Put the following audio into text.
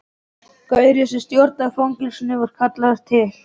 Gaurinn sem stjórnar fangelsinu var kallaður til.